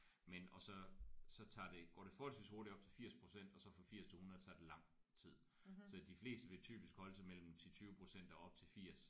Men og så så tager det går det forholdsvis hurtigt op til 80% og så fra 80 til 100 så tager det lang tid så de fleste vi typisk holde sig mellem 10 20% og op til 80